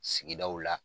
Sigidaw la